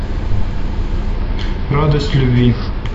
радость любви